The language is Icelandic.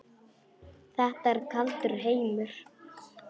Þetta er kaldur heimur.